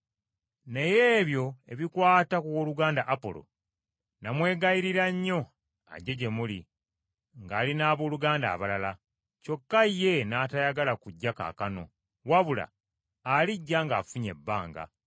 Naye ebyo ebikwata ku wooluganda Apolo, namwegayirira nnyo ajje gye muli, ng’ali n’abooluganda abalala, kyokka ye n’atayagala kujja kaakano, wabula alijja ng’afunye ebbanga.